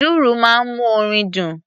Dùrù máa ń mú orin dùn.